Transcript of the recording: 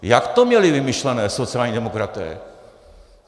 Jak to měli vymyšlené sociální demokraté?